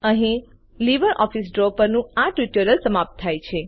અહીં LibreOffice Draw પરનું આ ટ્યુટોરીયલ સમાપ્ત થાય છે